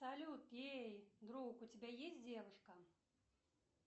салют эй друг у тебя есть девушка